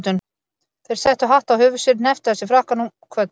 Þeir settu hatt á höfuð sér, hnepptu að sér frakkanum, kvöddu.